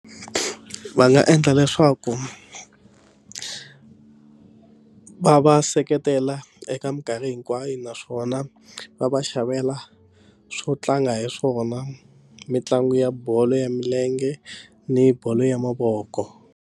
Va nga endla leswaku va va seketela eka minkarhi hinkwayo naswona va va xavela swo tlanga hi swona mitlangu ya bolo ya milenge ni bolo ya mavoko.